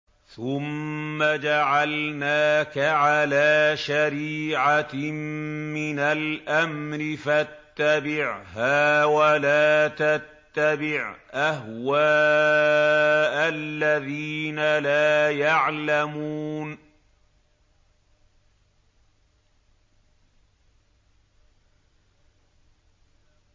ثُمَّ جَعَلْنَاكَ عَلَىٰ شَرِيعَةٍ مِّنَ الْأَمْرِ فَاتَّبِعْهَا وَلَا تَتَّبِعْ أَهْوَاءَ الَّذِينَ لَا يَعْلَمُونَ